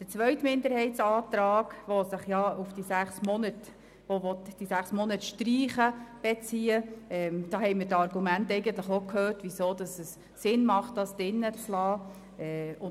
Zum zweiten Minderheitsantrag, welcher die sechs Monate streichen will: Wir haben bereits gehört, weshalb es Sinn macht, diese zu belassen.